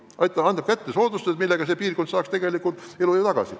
Neile antakse soodustused, mida kasutades piirkonnad saavad ehk elujõu tagasi.